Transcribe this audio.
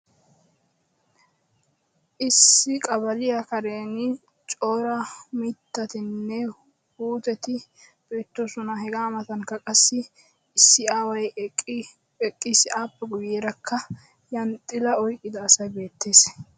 issi qabaliya karen Cora mitatinne puutetti beetoosona. ape guyeerakka issi aaway eqqis, appe guyeera zhanxxilaa oyqqida asay beetees.